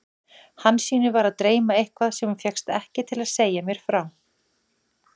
Hansínu var að dreyma eitthvað sem hún fékkst ekki til að segja mér frá.